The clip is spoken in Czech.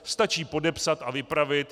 Stačí podepsat a vypravit.